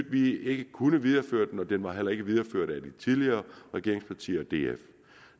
at vi ikke kunne videreføre den og den var heller ikke videreført af de tidligere regeringspartier og df